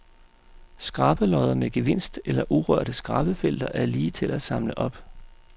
Skrabelodder med gevinst eller urørte skrabefelter er lige til at samle op.